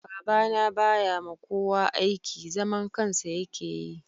Baba na ba ya ma kowa aiki. Zaman kansa ya ke yi